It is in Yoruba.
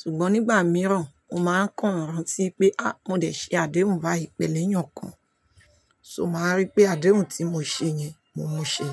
Ṣùgbọ́n nígbà mìíràn, mo máa ń kàn án rán tí wipé a mo dẹ̀ ṣe àdéhùn báyìí pẹ̀lú èèyàn kan, ṣo máa rí pé àdéhùn tí mo ṣe yẹn, mo mú un ṣe.